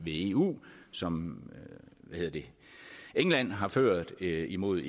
eu som england har ført imod